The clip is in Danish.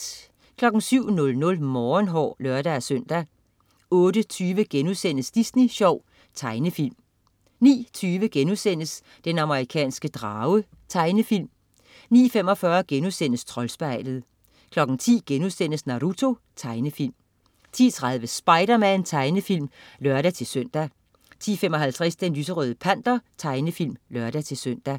07.00 Morgenhår (lør-søn) 08.20 Disney Sjov.* Tegnefilm 09.20 Den amerikanske drage.* Tegnefilm 09.45 Troldspejlet* 10.00 Naruto.* Tegnefilm 10.30 Spiderman. Tegnefilm (lør-søn) 10.55 Den lyserøde panter. Tegnefilm (lør-søn)